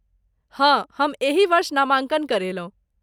हँ, हम एही वर्ष नामाँकन करेलहुँ।